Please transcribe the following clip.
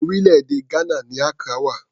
Orílẹ̀-èdè Ghana ni Accra wà.